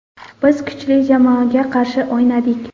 Biz kuchli jamoaga qarshi o‘ynadik.